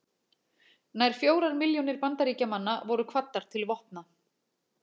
Nær fjórar milljónir Bandaríkjamanna voru kvaddar til vopna.